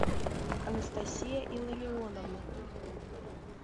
анастасия илларионовна